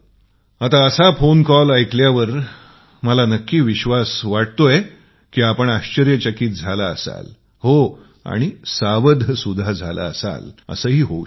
आता असा phone call ऐकल्यावर मला नक्की विश्वास आहे की आपण आश्चर्य चकित झाला असाल सतर्क सुद्धा झाला असाल असे ही होऊ शकते